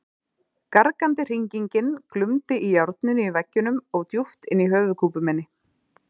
Gargandi hringingin glumdi í járninu í veggjunum og djúpt inni í höfuðkúpu minni.